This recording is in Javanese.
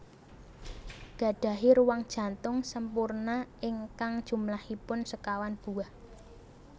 Gadahi ruang jantung sempurna ingkang jumlahipun sekawan buah